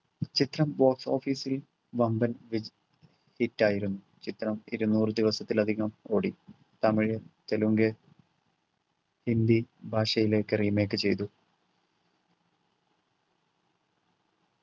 ചിത്രം box office ൽ വമ്പൻ വിജ hit ആയിരുന്നു ചിത്രം ഇരുന്നൂറു ദിവസത്തിലധികം ഓടി തമിഴ് തെലുങ്ക് ഹിന്ദി ഭാഷയിലേക്ക് remake ചെയ്തു